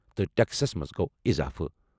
تہٕ ٹیکسس منٛز گوو اضافہٕ۔